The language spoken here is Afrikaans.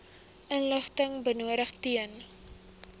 inligting benodig ten